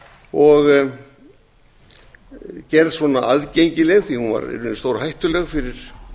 og gerð aðgengileg því að hún var í raun stórhættuleg fyrir